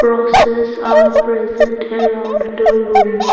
grasses are present around the room.